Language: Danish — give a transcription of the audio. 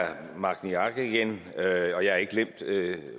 herre magni arge igen og jeg har ikke glemt